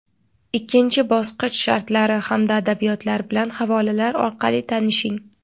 Ikkinchi bosqich shartlari hamda adabiyotlar bilan havolalar orqali tanishing.